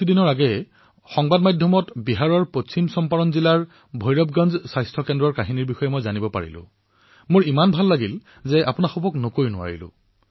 কিছুদিন পূৰ্বে সংবাদ মাধ্যমত বিহাৰৰ পশ্চিম চম্পাৰণ জিলাৰ ভৈৰৱগঞ্জ স্বাস্থ্যকেন্দ্ৰৰ কাহিনী যেতিয়া মই শুনিবলৈ পালো মোৰ ইমান ভাল লাগিল যে আজি মই আপোনালোকক সেই বিষয়ে নকৈ নোৱাৰো